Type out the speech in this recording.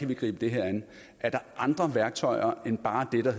kan gribe det her an er der andre værktøjer end bare det der